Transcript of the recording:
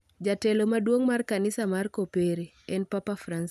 Jatelo maduong' mar Kanisa mar Kopere, en Papa Francis